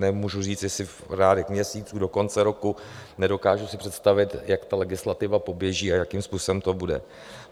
Nemůžu říct, jestli v řádech měsíců do konce roku, nedokážu si představit, jak ta legislativa poběží a jakým způsobem to bude.